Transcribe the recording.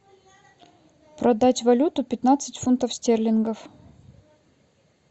продать валюту пятнадцать фунтов стерлингов